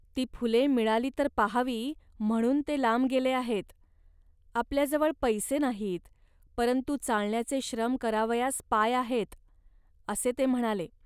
ती फुले मिळाली तर पाहावी, म्हणून ते लांब गेले आहेत. आपल्याजवळ पैसे नाहीत, परंतु चालण्याचे श्रम करावयास पाय आहेत" असे ते म्हणाले